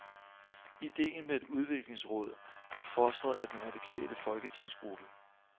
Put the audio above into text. Ideen med et udviklingsråd er fostret af den radikale folketingsgruppe.